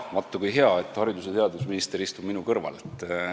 Vaat kui hea, et haridus- ja teadusminister minu kõrval istub.